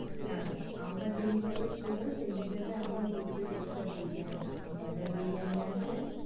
হ্যাঁ, আমার যেই হিসেবে ছিল সেই হিসেবে আমার দু plate extra mutton বিরিয়ানি আসবে